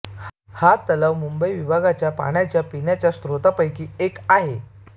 हा तलाव मुंबई विभागाच्या पिण्याच्या पाण्याच्या स्रोत्रापैकी एक आहे